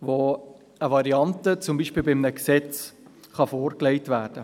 welche beispielsweise bei einem Gesetz eine Variante vorlegen können.